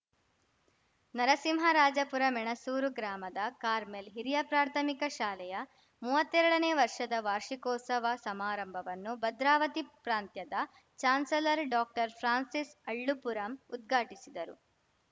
ನರಸಿಂಹರಾಜಪುರ ಮೆಣಸೂರು ಗ್ರಾಮದ ಕಾರ್ಮೆಲ್‌ ಹಿರಿಯಪ್ರಾಥಮಿಕ ಶಾಲೆಯ ಮುವತ್ತೆರಡನೇ ವರ್ಷದ ವಾರ್ಷಿಕೋತ್ಸವ ಸಮಾರಂಭವನ್ನು ಭದ್ರಾವತಿ ಪ್ರಾಂತ್ಯದ ಚಾನ್ಸಲರ್‌ ಡಾಕ್ಟರ್ಫ್ರಾನ್ಸಿಸ್ ಅಳ್ಳುಂಪುರಂ ಉದ್ಘಾಟಿಸಿದರು